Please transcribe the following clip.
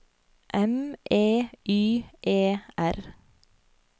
M E Y E R